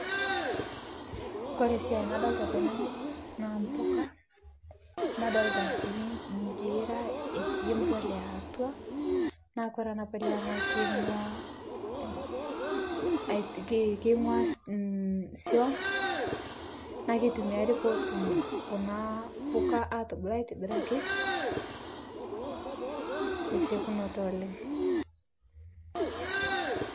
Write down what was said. Kore siai nadolita tene ng'ueji naa mpukaa nadolita sii njiira etii mpulia atua naa kore ana pulia naa keingua keingua suom naa keitumiari peetum kuna puka atubulu aitibiraki tesekunotoo oleng'.